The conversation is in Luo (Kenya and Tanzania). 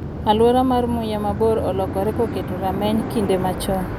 "Aluora mar muya ma bor olokore kokete rameny kinde machon